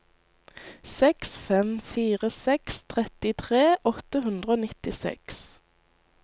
seks fem fire seks trettitre åtte hundre og nittiseks